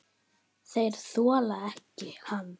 Þeir þola hann ekki.